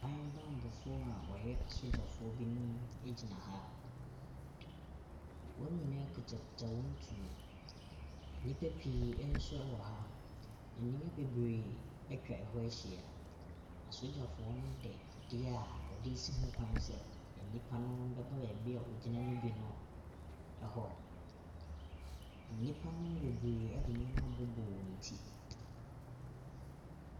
Aban bammɔfoɔ a wɔyɛ asogyafoɔ binom gyina ha, wɔn nyinaa kitakita wɔn tuo, nnipa pii nso wɔ ha, nnua bebree atwa hɔ ahyia. Asogyafoɔ ne de adeɛ a wɔde resi ho kwan sɛ nnipa no bɛba beebi a wɔgyina ne bi no hɔ. nnipa no bebree de nneɛma abɔ wɔn ti.